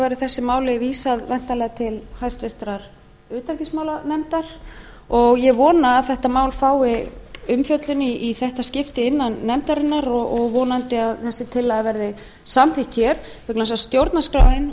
verði þessu máli vísað væntanlega til háttvirtrar utanríkismálanefndar og ég vona að þetta mál fái umfjöllun í þetta skipti innan nefndarinnar og vonandi að þessi tillaga verði samþykkt hér vegna þess að stjórnarskráin